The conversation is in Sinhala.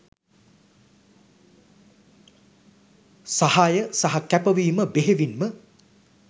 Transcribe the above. සහාය සහ කැපවීම බෙහෙවින්ම